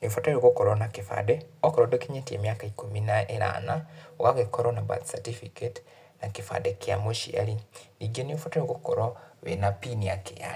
Nĩ ũbataire gũkorwo na kĩbandĩ, okorwo ndũkinyĩtie mĩaka ikũmi na ĩnana, ũgagĩkorwo na birth certificate, na kĩbandĩ kĩa mũciari. Ningĩ nĩ ũbataire gũkorwo wĩna bini ya KRA